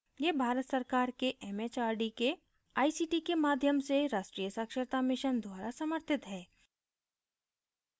यह भारत सरकार के एमएचआरडी के आईसीटी के माध्यम से राष्ट्रीय साक्षरता mission द्वारा समर्थित है